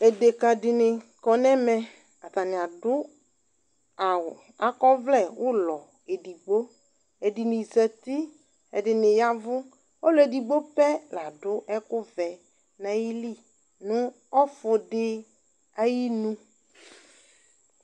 Edekǝ dɩnɩ kɔ nʋ ɛmɛ, atanɩ adʋ awʋ, akɔ ɔvlɛ ʋlɔ edigbo Edɩnɩ zati, ɛdɩnɩ ya ɛvʋ Ɔlʋ edigbo pɛ la dʋ ɛkʋvɛ nʋ ayili nʋ ɔfʋ dɩ ayinu